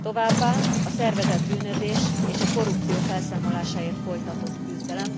továbbá a szervezett bűnözés és a korrupció felszámolásáért folytatott küzdelem.